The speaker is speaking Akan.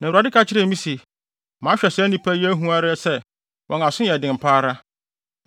Na Awurade ka kyerɛɛ me se, “Mahwɛ saa nnipa yi ara ahu sɛ, wɔn aso yɛ den pa ara.